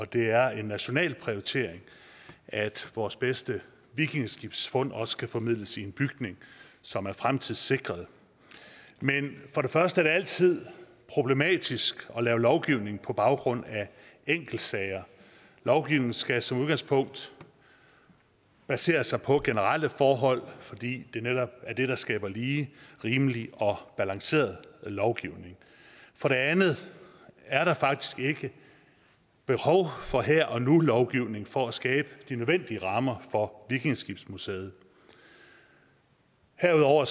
det er en national prioritet at vores bedste vikingeskibsfund også kan formidles i en bygning som er fremtidssikret men for det første er det altid problematisk at lave lovgivning på baggrund af enkeltsager lovgivning skal som udgangspunkt basere sig på generelle forhold fordi det netop er det der skaber lige rimelig og balanceret lovgivning for det andet er der faktisk ikke behov for her og nu lovgivning for at skabe de nødvendige rammer for vikingeskibsmuseet herudover